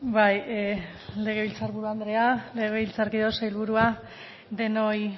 bai legebiltzar buru andrea legebiltzarkideok sailburua denoi